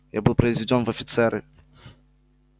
я был произведён в офицеры